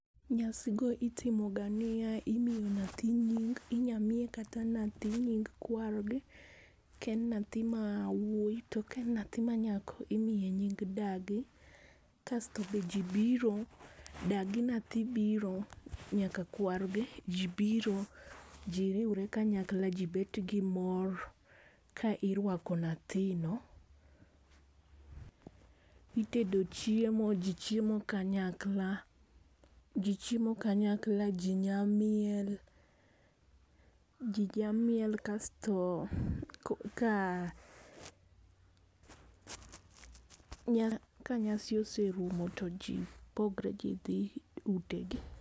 Nyasi go itimo ga niya, imiyo nyathi nying inya miye kata nyathi nying kwargi, ka en en nyathi mawuoyi to ka en nyathi manyako imiye nying dagi . Kasto be jii biro, dagi nyathi biro nyaka kwargi jii biro jii riwre kayakla jii bet gi mor ka irwako nyathino. Itedo chiemo jii chiemo kanyakla jii chiemo kanyakla jii nya miel jii nya miel kasto ko ka nya ka nyasi oserumo to ji pogre jii dhi ute gi.